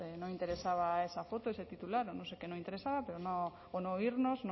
no interesaba esa foto ese titular o no sé qué no interesaba pero no o no oírnos